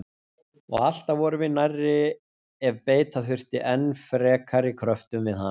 Og alltaf vorum við nærri ef beita þurfti enn frekari kröftum við hana.